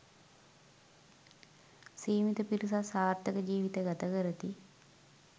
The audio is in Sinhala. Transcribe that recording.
සීමිත පිරිසක් සාර්ථක ජීවිත ගත කරති.